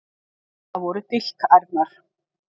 Það voru dilkærnar.